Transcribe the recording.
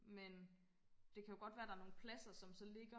men det kan jo godt være der er nogle pladser som så ligger